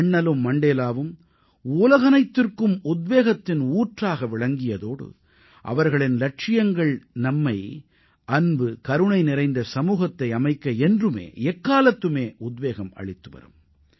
அண்ணலும் மண்டேலாவும் உலகனைத்திற்கும் உத்வேகத்தின் ஊற்றாக விளங்கியதோடு அவர்களின் இலட்சியங்கள் நம்மை அன்பு கருணை நிறைந்த சமூகத்தை அமைக்க என்றுமே எக்காலத்துமே உத்வேகம் அளித்துவரும்